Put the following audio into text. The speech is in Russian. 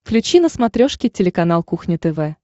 включи на смотрешке телеканал кухня тв